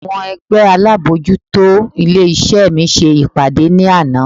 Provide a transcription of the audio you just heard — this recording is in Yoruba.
Àwọn ẹgbẹ́ alábojútó ilé iṣẹ́ mi ṣe ìpàdé ní àná.